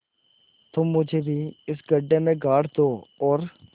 तुम मुझे भी इस गड्ढे में गाड़ दो और